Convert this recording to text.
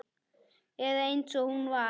Eða eins og hún var.